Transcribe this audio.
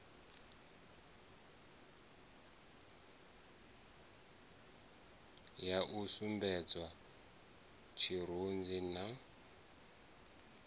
ya u sumbedzwa tshirunzi na